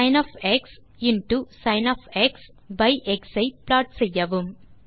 by X ஐ plot செய்யவும்